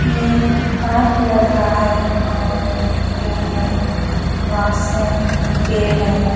यह एक पार्क लग रहा है और घासें पेड़ हैं।